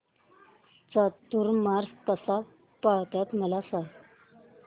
चातुर्मास कसा पाळतात मला सांग